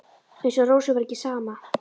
Eins og Rósu væri ekki sama.